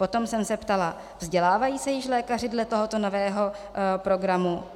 Potom jsem se ptala: Vzdělávají se již lékaři dle tohoto nového programu?